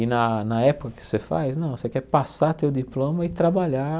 E na na época que você faz, não, você quer passar, ter o diploma e trabalhar